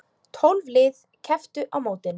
Tólf lið kepptu á mótinu.